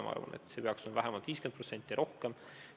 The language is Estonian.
Ma arvan, et see peaks olema vähemalt 50% ja rohkem.